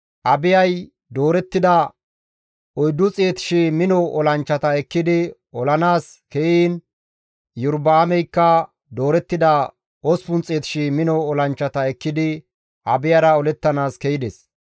Abiyay doorettida 400,000 mino olanchchata ekkidi olanaas ke7iin Iyorba7aameykka doorettida 800,000 mino olanchchata ekkidi Abiyara olettanaas ke7ides.